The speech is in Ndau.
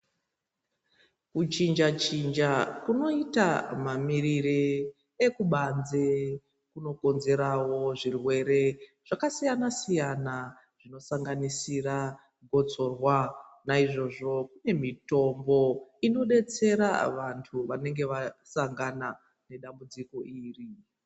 Kuchinja chinja kunoita mamirire ekubanze kunokonzerawo zvirwere zvakasiyana siyana zvinosanganisira botsorwa naizvozvo kune mitombo inodetsera vantu vanenge vasangana nedambudziko iri .